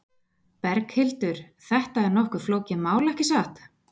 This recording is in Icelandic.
Berghildur, þetta er nokkuð flókið mál, ekki satt?